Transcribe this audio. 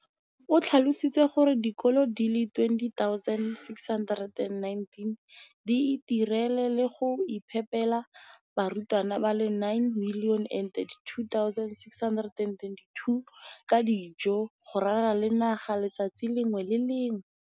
o tlhalositse gore dikolo di le 20 619 di itirela le go iphepela barutwana ba le 9 032 622 ka dijo go ralala naga letsatsi le lengwe le le lengwe.